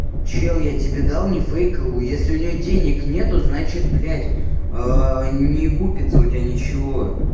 чел я тебе дал не фейковую если у нее денег нету значит блять не купится у тебя ничего